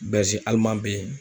be yen